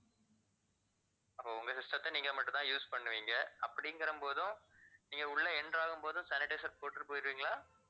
அப்போ உங்க system த்த நீங்க மட்டும் தான் use பண்ணுவீங்க அப்படிங்கிற போதும் நீங்க உள்ள enter ஆக போதும் sanitizer போட்டுட்டு போயிருவீங்களா